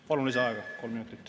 Palun lisaaega kolm minutit.